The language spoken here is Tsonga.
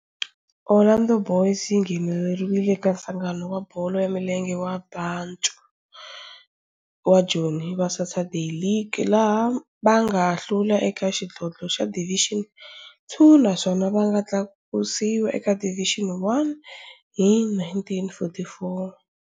Orlando Boys yi nghenelerile eka Nhlangano wa Bolo ya Milenge wa Bantu wa Joni wa Saturday League, laha va nga hlula eka xidlodlo xa Division Two naswona va nga tlakusiwa eka Division One hi 1944.